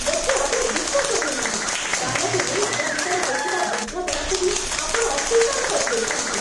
ମୋତେ ଆଦୌ ବିଶ୍ୱାସ ହେଉନାହିଁ, ଦାନକୁ ନେଇ ଆମ ଭିତରେ ହୋଇଥିବା ବୁଝାମଣାକୁ ବି ଆପଣ ଅସ୍ଵୀକାର କରିଦେଉଛନ୍ତି।